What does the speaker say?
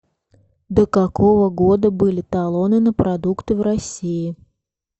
до какого года были талоны на продукты в россии